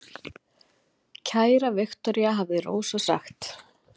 Kæra Viktoría, hafði Rósa sagt.